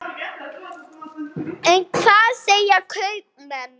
En hvað segja kaupmenn?